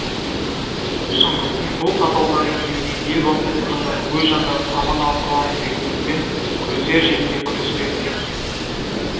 шыңғыстың бұл қатал заңын білмеген ел бастайтын хандар өз жандарын аман алып қаламыз деген үмітпен күресер жерінде күреспеді